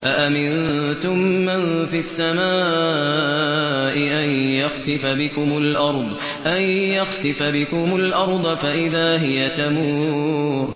أَأَمِنتُم مَّن فِي السَّمَاءِ أَن يَخْسِفَ بِكُمُ الْأَرْضَ فَإِذَا هِيَ تَمُورُ